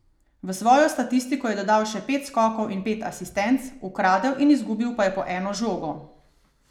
V svojo statistiko je dodal še pet skokov in pet asistenc, ukradel in izgubil pa je po eno žogo.